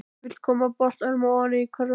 Vill koma boltanum ofan í körfuna.